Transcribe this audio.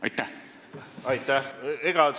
Aitäh!